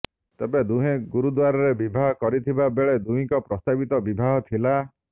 ତେବେ ଦୁହେଁ ଗୁରୁଦ୍ୱାରାରେ ବିବାହ କରିଥିବା ବେଳେ ଦୁହିଁଙ୍କର ପ୍ରସ୍ତାବିତ ବିବାହ ଥିଲା